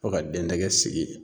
Fo ka den dɛgɛ sigi